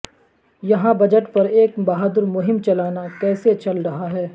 یہاں بجٹ پر ایک بہادر مہم چلانا کیسے چل رہا ہے